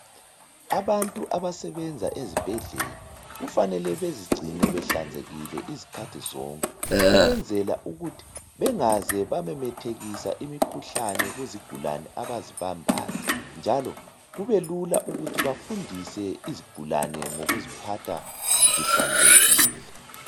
Abantu abasebenza ezibhedlela, kufanele bezigcine behlanzekile izikhathi zonke. Ukwenzela ukuthi bengaze bamemethekisa imikhuhlane kuzigulane abazibambayo, njalo kubelula ukufundisa izigulane, ngokuziphatha zihlanzekile.